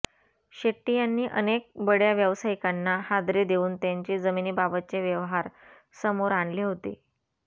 शेट्टी यांनी अनेक बडय़ा व्यावसायिकांना हादरे देऊन त्यांचे जमिनीबाबतचे व्यवहार समोर आणले होते